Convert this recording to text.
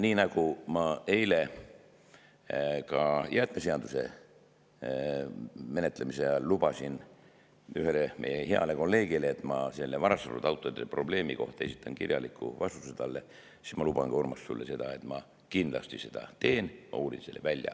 Nii nagu ma eile ka jäätmeseaduse menetlemise ajal lubasin ühele meie heale kolleegile, et ma selle varastatud autode probleemi kohta saadan talle kirjaliku vastuse, luban ka sulle, Urmas, et ma seda kindlasti teen, ma uurin selle välja.